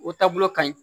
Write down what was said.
O taabolo ka ɲi